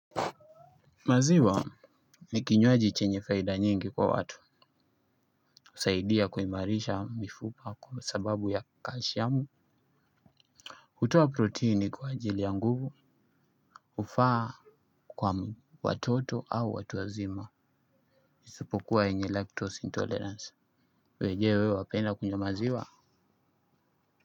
Maziwa ni kinywaji chenye faida nyingi kwa watu usaidia kuimarisha mifupa kwa sababu ya kashiamu hutoa protini kwa ajili ya nguvu hufaa kwa watoto au watu wazima. Isopukuwa yenye lactose intolerance wenyewe wapenda kunywa maziwa.